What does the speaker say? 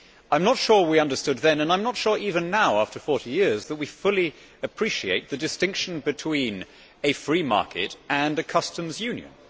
I am not sure that we understood then and I am not sure even now, after 40 years, that we fully appreciate the distinction between a free market and a customs union.